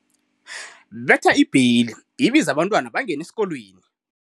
Betha ibheli ibize abantwana bangene esikolweni.